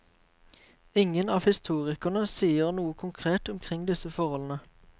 Ingen av historikerne sier noe konkret omkring disse forholdene.